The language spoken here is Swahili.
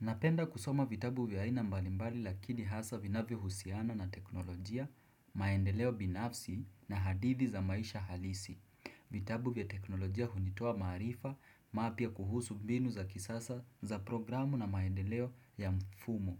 Napenda kusoma vitabu vya aina mbalimbali lakini hasa vinavyo husiana na teknolojia, maendeleo binafsi na hadidhi za maisha halisi. Vitabu vya teknolojia hunitoa maarifa mapya kuhusu mbinu za kisasa za programu na maendeleo ya mfumo